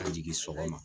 Ka jigin sɔgɔma